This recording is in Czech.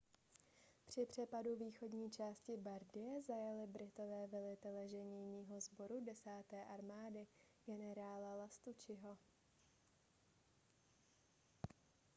při přepadu východní části bardie zajali britové velitele ženijního sboru desáté armády generála lastucciho